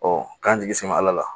k'an jigi sɛbɛ ala la